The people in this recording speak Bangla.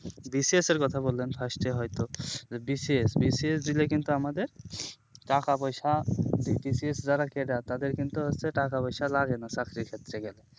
BCS এর কথা বললেন first এ হয় তো যদি BCS দিলে কিন্তু আমাদের টাকা পয়সা BCS যারা cadre তাদের কিন্তু হচ্ছে টাকা পয়সা লাগে না চাকরির ক্ষেত্রে গেলে